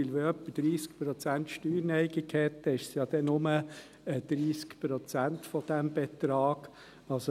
Wenn jemand 30 Prozent Steuerneigung hat, sind es ja dann nur 30 Prozent dieses Betrags.